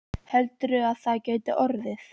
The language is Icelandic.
Heldur þú að það gæti orðið?